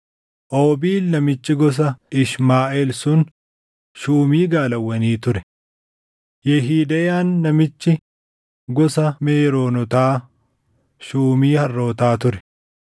Oobiil namichi gosa Ishmaaʼeel sun shuumii gaalawwanii ture. Yehideyaan namichi gosa Meeroonotaa shuumii harrootaa ture.